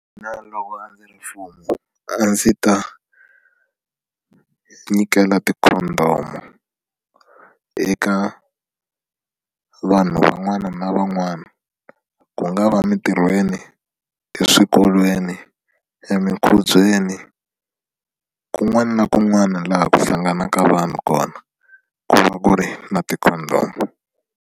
loko a ndzi ri mfumo a ndzi ta nyikela ti-Condom eka vanhu van'wana na van'wana ku nga va emintirhweni eswikolweni emikubyeni kun'wana na kun'wana laha ku hlanganaka vanhu kona ku va ku ri na ti-Condom.